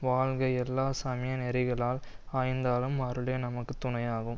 வாழ்க எல்லா சமய நெறிகளால் ஆய்ந்தாலும் அருளே நமக்கு துணையாகும்